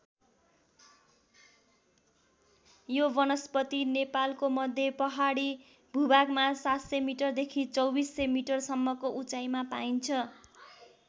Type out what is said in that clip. यो वनस्पति नेपालको मध्य पहाडी भूभागमा ७०० मिटरदेखि २४०० मिटरसम्मको उचाइमा पाइन्छ।